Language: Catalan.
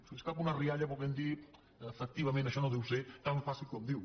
se li escapa una rialla volent dir efectivament això no deu ser tan fàcil com diu